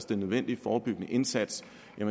den nødvendige forebyggende indsats